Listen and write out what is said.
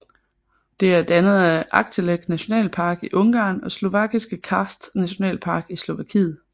Det er dannet af Aggtelek Nationalpark i Ungarn og Slovakiske Karst Nationalpark i Slovakiet